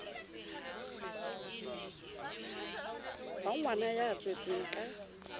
wa ngwana ya tswetsweng ka